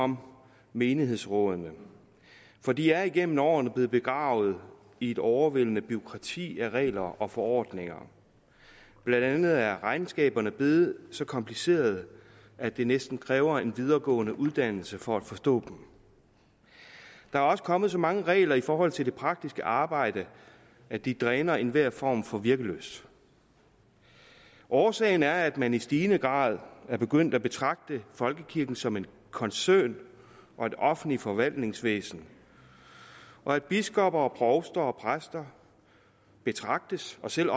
om menighedsrådene for de er igennem årene blevet begravet i et overvældende bureaukrati af regler og forordninger blandt andet er regnskaberne blevet så komplicerede at det næsten kræver en videregående uddannelse for at forstå dem der er også kommet så mange regler i forhold til det praktiske arbejde at de dræner enhver form for virkelyst årsagen er at man i stigende grad er begyndt at betragte folkekirken som en koncern og et offentligt forvaltningsvæsen og at biskopper og provster og præster betragtes og selv